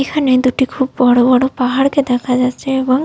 এখানে দুটি খুব বড়বড় পাহাড় কে দেখা যাচ্ছে এবং।